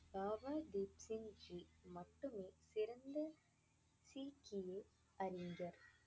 பாபா தீப் சிங் ஜி மட்டுமே சிறந்த சீக்கிய அறிஞர்